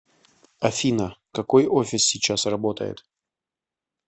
афина какой офис сейчас работает